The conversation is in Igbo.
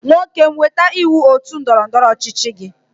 Nwokem weta iwu otu ndọrọ ndọrọ ọchịchị gi.